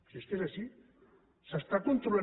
si es que és així s’està controlant